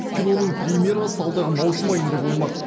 киноның премьерасы алдағы маусым айында болмақ